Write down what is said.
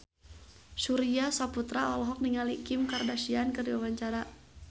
Surya Saputra olohok ningali Kim Kardashian keur diwawancara